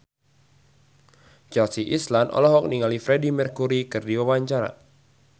Chelsea Islan olohok ningali Freedie Mercury keur diwawancara